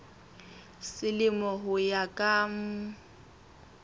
selemo ho ya ka mm